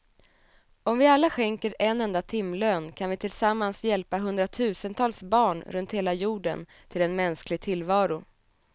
Om vi alla skänker en enda timlön kan vi tillsammans hjälpa hundratusentals barn runt hela jorden till en mänsklig tillvaro.